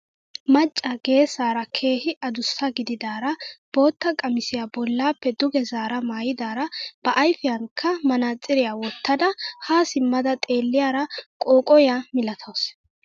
Macca geessara keehi adussa gididaara bootta qamisiyaa bollappe duge zaara maayidara ba ayfiyaanika manaatsiriyaa wottada haa simmada xeelliyaara qooqoyaa milatawus.